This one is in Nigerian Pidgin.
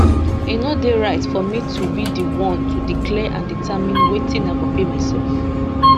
e no dey right for me to be di one to declare and determine wetin i go pay myself